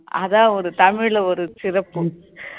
அதான் ஒரு தமிழ்ல ஒரு சிறப்பு